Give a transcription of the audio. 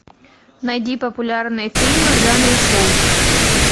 найди популярные фильмы в жанре шоу